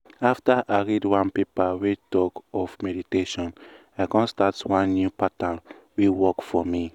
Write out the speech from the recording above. after i read one paper wey talk of meditation i come start one new pattern wey work for me.